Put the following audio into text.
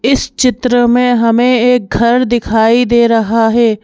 इस चित्र में हमें एक घर दिखाई दे रहा है।